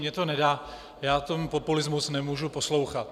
Mně to nedá, já ten populismus nemůžu poslouchat.